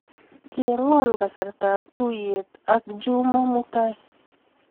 Cheng'wa kasartap tuiyet ak Juma mutai.